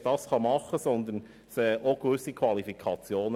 Vielmehr braucht man auch gewisse Qualifikationen.